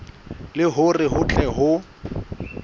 le hore ho tle ho